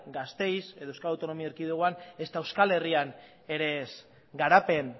gasteiz edo euskal autonomi erkidegoan ezta euskal herrian ere ez garapen